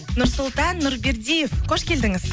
нұрсұлтан нұрбердиев қош келдіңіз